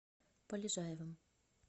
полежаевым